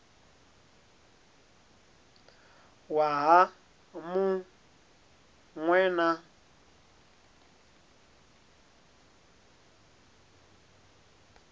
waha mu ṅ we na